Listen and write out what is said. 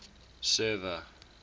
server